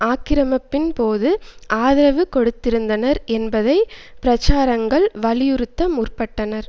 ஆக்கிரமிப்பின்போது ஆதரவு கொடுத்திருந்தனர் என்பதை பிரச்சாரகர்கள் வலியுறுத்த முற்பட்டனர்